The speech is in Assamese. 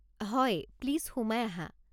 হয়, প্লিজ সোমাই আহা।